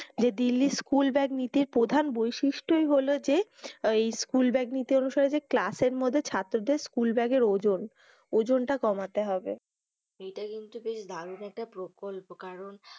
যে Delhi school bag নীতির প্রধান বৈশিষ্ঠই হল যে ওই স্কুল ব্যাগ নীতি অনুসারে যে class এর মধ্যে ছাত্রদের school bag এর ওজন। ওজনটা কমাতে হবে। এটা কিন্তু বেশ দারুন একটা প্রকল্প কারণ,